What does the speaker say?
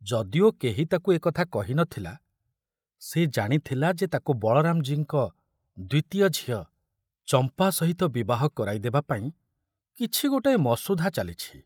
ଯଦିଓ କେହି ତାକୁ ଏ କଥା କହି ନଥିଲା, ସେ ଜାଣିଥୁଲା ଯେ ତାକୁ ବଳରାମଜୀଙ୍କ ଦ୍ୱିତୀୟ ଝିଅ ଚମ୍ପା ସହିତ ବିବାହ କରାଇ ଦେବା ପାଇଁ କିଛି ଗୋଟାଏ ମସୁଧା ଚାଲିଛି।